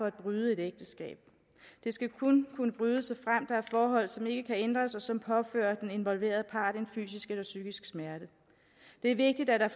at bryde et ægteskab det skal kun kunne brydes forhold som ikke kan ændres og som påfører den involverede part en fysisk eller psykisk smerte det er vigtigt at der